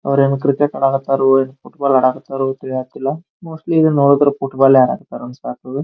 ಅವರು ಏನೋ ಕ್ರಿಕೆಟ್ ಆಡಾಕೆ ಹತ್ತಾರ ಫುಟ್ಬಾಲ್ ಆಡಕೆ ಹತ್ತಾರೋ ಗೊತ್ತಿಲ್ಲ ಮೋಸ್ಟ್ಲಿ ನೋಡಿದ್ರೆ ಫುಟ್ಬಾಲ್ ಆಡ್ತಾರೆ ಅನ್ಸಕತ್ತದ.